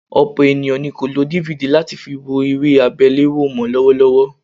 Ọ̀pọ̀ ènìyàn ni kò lo DVD láti fi wo eré àgbéléwò mọ́ lọ́wọ́lọ́wọ́